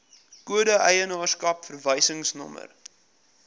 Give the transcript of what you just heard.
kode eienaarskap verwysingsnommer